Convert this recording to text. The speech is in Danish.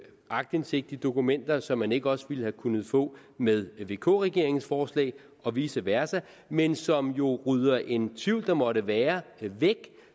aktindsigt i dokumenter som man ikke også ville have kunnet få med vk regeringens forslag og vice versa men som jo rydder en tvivl der måtte være væk